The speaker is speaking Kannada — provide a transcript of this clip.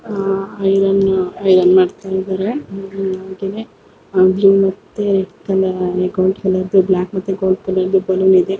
ಅಹ್ ಐರನ್ನು-ಐರನ್ ಮಾಡ್ತಾಯ್ದರೆ ಆಗ್ಲೂ ಮತ್ತೆ ಕಲಾ ಎ ಗೋಲ್ಡ್ ಕಲ್ಲರ್ ಗೆ ಬ್ಲಾಕ್ ಮತ್ತೆ ಗೋಲ್ಡ್ ಕಲ್ಲರ್ ದು ಬಲ್ಲೋನ್ ಇದೆ.